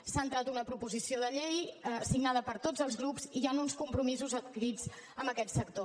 s’ha entrat una proposició de llei signada per tots els grups i hi han uns compromisos adquirits amb aquest sector